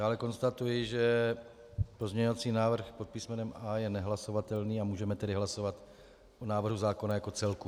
Dále konstatuji, že pozměňovací návrh pod písmenem A je nehlasovatelný, a můžeme tedy hlasovat o návrhu zákona jako celku.